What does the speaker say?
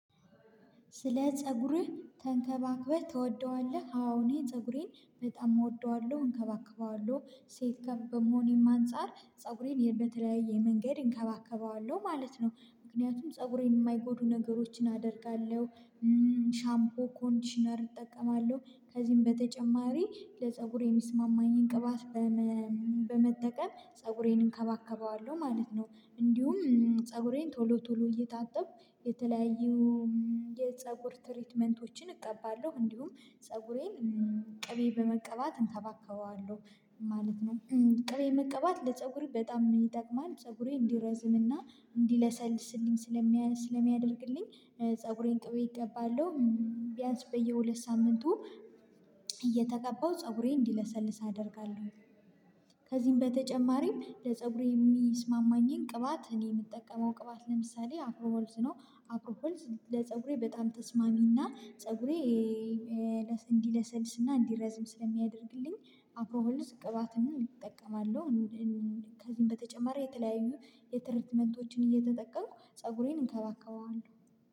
ስለ? ፀጉሬ ተንከባክበህ ትወደዋለህ አዎ እኔ ፀጉሬን በጣም እወደዋለሁ እንከባከበዋለሁ ሴት ከ በመሆኔም አንፃር ፀጉሬን በተለያየ መንገድ እንከባከበዋለሁ ማለት ነው። ምክንያቱም ፀጉሬን የማይጎዱ ነገሮችን አደርጋለሁ። ሻምፖ ኮንዲሽነር እጠቀማለሁ ከዚህም በተጨማሪ ለፀጉሬ የሚስማማኝን ቅባት። በመጠቀም ፀጉሬን እንከባከበዋለሁ ማለት ነው። እንዲሁም ፀጉሬን ቶሎ ቶሎ እየታጠብኩ የተለያዩ የፀጉር ትሪትመንቶችን እቀባለሁ እንዲሁም ፀጉሬን ቅቤ በመቀባት እንከባከበዋለሁ። ማለት ነው ቅቤ መቀባት ለፀጉሬ በጣም ይጠቅማል። ፀጉሬ እንዲረዝም እና እንዲለሰልስልኝ ስለሚያ ስለሚያደርግልኝ። ፀጉሬን ቅቤ እቀባለሁ። ቢያንስ በየሁለት ሳምንቱ እየተቀባው ፀጉሬን እንዲለሰልስ አደርጋለሁ። ከዚህም በተጨማሪም ለፀጉሬ የሚስማማኝን ቅባት እኔ ምጠቀመው ቅባት ለምሳሌ አፍሮ ሐርዝ ነው። አፍሮ ሃርዝ ለፀጉሬ በጣም ተስማሚና ፀጉሬ እንዲለሰልስና እንዲረዝም ስለሚያደርግልኝ አፍሮ ሀርዝ ቅባትም እጠቀማለሁ። ከዚህም በተጨማሪ የተለያዩ የትረትመንቶችን እየተጠቀምኩ ፀጉሬን እንከባከበዋለን